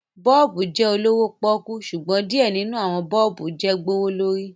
bọ́ọ̀bù jẹ olowo poku, ṣugbọn diẹ ninu awọn bọ́ọ̀bùjẹ gbowolori